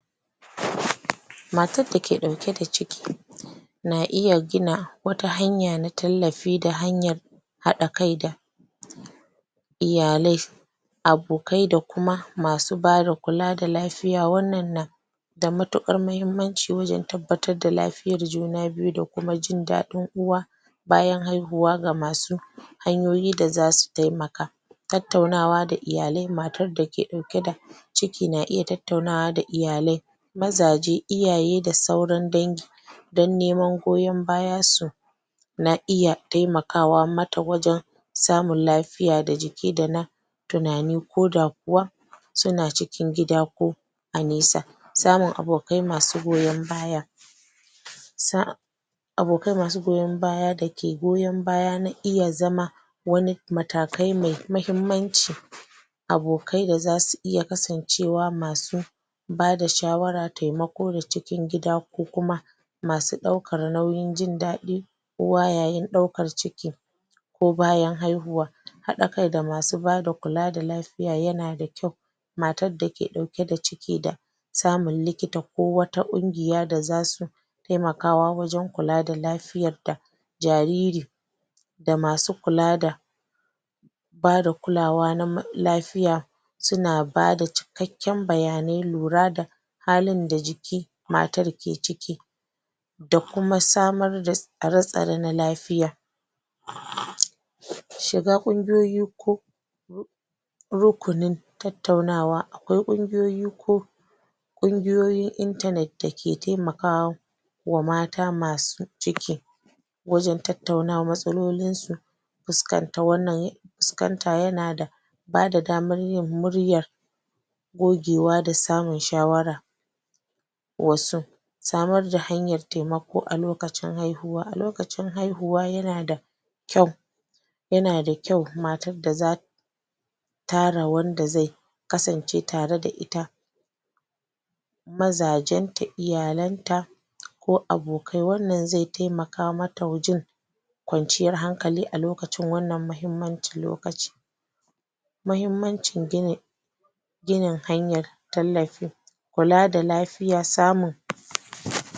matar dake dauke ka ciki na iya gina wata hanya na tallafi da hanyan haɗa kai da iyalai abokai da kuma masu ba da kula da lafiya wanna na da matukar muhimmanci wajen tabbatar da lafiyan juna biyu da kuma jin ɗadin uwa bayan haiwuwa ga masu hanyoyi da zasu taimaka tattaunawa da iyalai mata da ke dauke da da ciki na iya tattaunawa da iyalai mazaje, iyaye, da sauran dangi. Dan neman goyan bayan su na iya taimakawa mata wajen samun lafiya da jiki da na tunani ko da kuwa suna cikin gida ko a nesa samun abokai masu goyan baya sa abokai masu goyan baya dake goyan baya na iya zama wani matakai mai mahimmanci abokai da zasu iya kasan cewa masu bada shawara, taimako da cikin gida ko kuma masu daukar nauyin jin dadi kowa yayin daukar ciki ko bayan haihuwa haɗa kai da masu bada kula da lafiya yana da kyau matar dake dauke da ciki da samu liikita ko wata gungiya da za su taimakawa wajen kula da lafiya ta jariri da masu kula da bada kulawa na ma.. lafiya suna bada cikanke bayanai lura da hali da jiki matar ke ciki da kuma samar da tsaratsare na lafiya shiga kungiyoyi ko ko rukunin tattaunawa akwai gungiyoyi ko gungiyoyin internet da ke taimakawa wa mata masu ciki wajen tattanawa matsalolin su fuskanta wannan ya fuskanta yana da bada damar yin muryar gogewa da samin shawara wasu samar da hanyar taimako a lokacin haihuwa, a lokacin haihuwa yana da kyau yana da kyau mata da za tara wanda zai zai kasance tare da ita mazajen ta, iyalan ta, ko abokai. Wanna zai taimaka mata jin kwanciyar hankali alokacin wannan mahimmanci lokaci mahiimmanci gini ginin hanyar tallafi kula da lafiya samin......